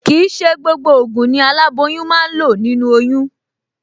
Kì í ṣe gbogbo ògùn ni aláboyún máa ń lò nínú oyún